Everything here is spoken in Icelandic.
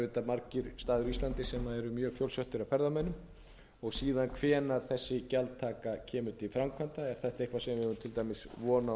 margir staðir á íslandi sem eru mjög fjölsóttir af ferðamönnum og síðan hvenær þessi gjaldtaka kemur til framkvæmda er þetta eitthvað sem